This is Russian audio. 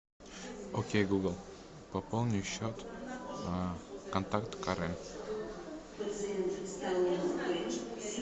окей гугл пополни счет контакт карен